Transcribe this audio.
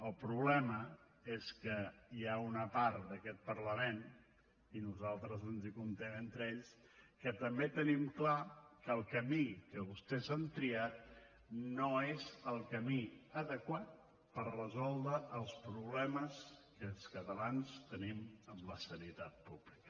el problema és que hi ha una part d’aquest parlament i nosaltres ens hi comptem entre ells que també tenim clar que el camí que vostès han triat no és el camí adequat per resoldre els problemes que els catalans tenim en la sanitat pública